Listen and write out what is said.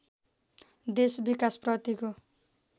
देश विकासप्रतिको